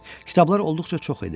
Kitablar olduqca çox idi.